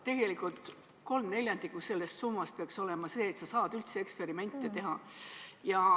Tegelikult peaks 3/4 sellest summast olema selleks, et sa saaksid üldse eksperimente teha.